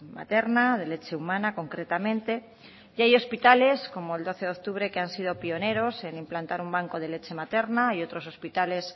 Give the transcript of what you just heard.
materna de leche humana concretamente y hay hospitales como el doce de octubre que han sido pioneros en implantar un banco de leche materna y otros hospitales